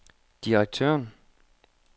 direktøren